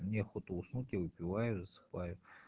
мне охота уснуть я выпиваю и засыпаю